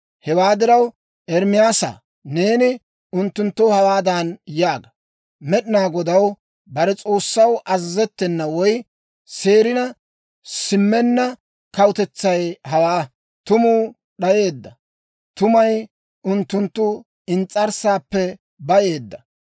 Hewaa diraw, Ermaasaa, neeni unttunttoo hawaadan yaaga; Med'inaa Godaw bare S'oossaw azazettena woy seerina simmenna kawutetsay hawaa. Tumuu d'ayeedda; tumay unttunttu ins's'arssaappe bayeedda.